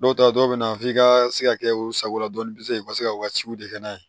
Dɔw ta dɔw bɛ na f'i ka se ka kɛ u sagola dɔn i bɛ se k'i ka se ka wajibi de kɛ n'a ye